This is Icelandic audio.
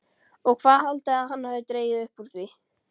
OG HVAÐ HALDIÐI AÐ HANN HAFI DREGIÐ UPP ÚR ÞVÍ?